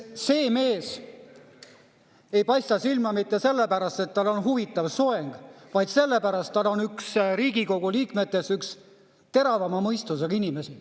See mees ei paista silma mitte sellepärast, et tal on huvitav soeng, vaid sellepärast, et ta on Riigikogu liikmetest üks teravama mõistusega inimesi.